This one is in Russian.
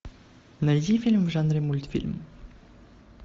найди фильм в жанре мультфильм